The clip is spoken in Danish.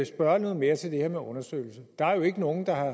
spørge noget mere til det her med undersøgelsen der er jo ikke nogen der har